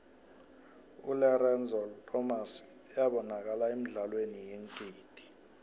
ulerenzo lomas ybanakala emidlalweni yeengidi